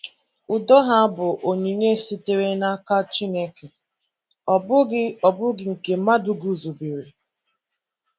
Udo ha bụ onyinye sitere n’aka Chineke, ọ bụghị ọ bụghị nke mmadụ guzobere.